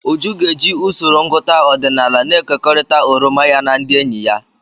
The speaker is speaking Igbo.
Uju ga-eji usoro ngụta ọdịnala na-ekekọrịta oroma ya na ndị enyi ya.